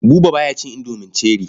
Buba ba ya cin indomi cherie.